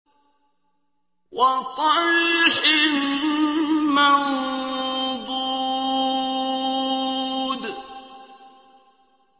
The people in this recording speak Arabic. وَطَلْحٍ مَّنضُودٍ